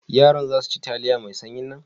Yaran za su ci taliya mai sanyin nan?